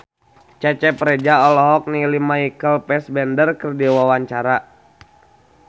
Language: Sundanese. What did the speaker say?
Cecep Reza olohok ningali Michael Fassbender keur diwawancara